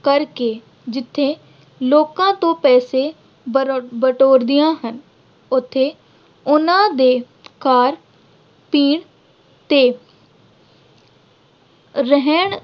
ਕਰਕੇ ਜਿੱਥੇ ਲੋਕਾਂ ਤੋਂ ਪੈਸੇ ਬਰ ਅਹ ਬਟੋਰਦੀਆਂ ਹਨ। ਉੱਥੇ ਉਨ੍ਹਾਂ ਦੇ ਖਾਣ-ਪੀਣ ਤੇ ਰਹਿਣ